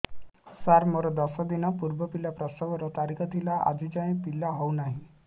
ସାର ମୋର ଦଶ ଦିନ ପୂର୍ବ ପିଲା ପ୍ରସଵ ର ତାରିଖ ଥିଲା ଆଜି ଯାଇଁ ପିଲା ହଉ ନାହିଁ